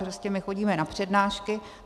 Prostě my chodíme na přednášky.